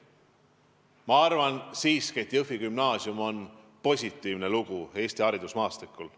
Minu arvates on Jõhvi Gümnaasium positiivne näide Eesti haridusmaastikul.